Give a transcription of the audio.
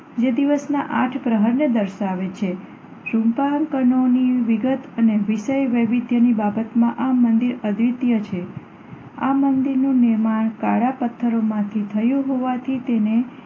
જે દિવસના આઠ પ્રહરને દર્શાવે છે. શીલ્પાહારકારોની વિગત અને વિષય વૈવિધ્યની બાબતમાં આ મંદિર અદ્વિતીય છે. આ મંદિરનું નિર્માણ કાળા પથ્થરોમાંથી થયું હોવાથી તેને